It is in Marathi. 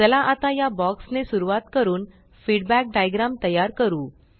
चला आता या बॉक्स ने सुरवात करून फीडबॅक डाइग्राम तयार करू